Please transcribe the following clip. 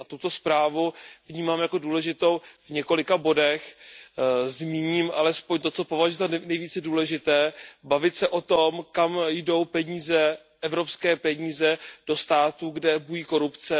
Tuto zprávu vnímám jako důležitou v několika bodech, zmíním alespoň to, co považuji za nejvíce důležité bavit se o tom, kam jdou evropské peníze ve státech, kde bují korupce.